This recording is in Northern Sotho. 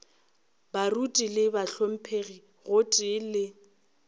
baruti le bahlomphegi gotee le